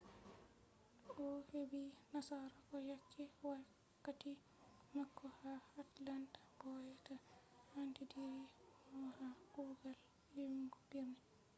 o'hebi nasarako yake wakkati mako ha atlanta bo be anditiri mo ha kugal ilmu birni